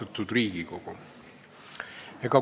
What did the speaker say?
Austatud Riigikogu!